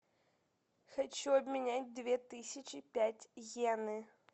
хочу обменять две тысячи пять йены